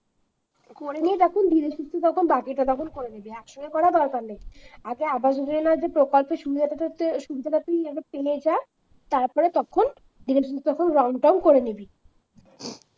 করে নিয়ে তখন ধীরে সুস্থ তখন বাকিটা তখন করে নিবি এক সঙ্গে করার দরকার নেই আগে আবার যোজনার প্রকল্পের যে সুবিধাটা যে সুবিধাটা আগে তুই পেয়ে যা তারপরে তখন ধীরে সুস্থ তখন রংটং করে নিবি।